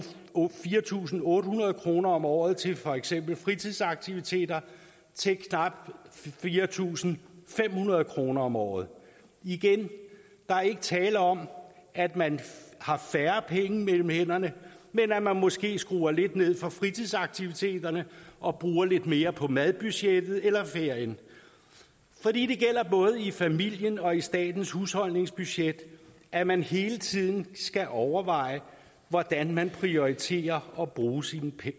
fire tusind otte hundrede kroner om året til for eksempel fritidsaktiviteter til knap fire tusind fem hundrede kroner om året igen der er ikke tale om at man har færre penge mellem hænderne men at man måske skruer lidt ned for fritidsaktiviteterne og bruger lidt mere på madbudgettet eller ferien for det gælder både i familien og i statens husholdningsbudget at man hele tiden skal overveje hvordan man prioriterer at bruge sine